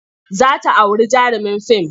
Za ta auri jarumin fim.